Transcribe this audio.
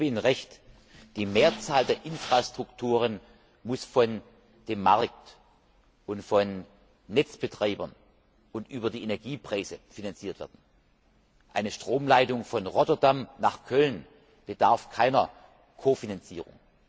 Ich gebe Ihnen Recht, die Mehrzahl der Infrastrukturen muss von dem Markt und von den Netzbetreibern und über die Energiepreise finanziert werden. Eine Stromleitung von Rotterdam nach Köln bedarf keiner Kofinanzierung.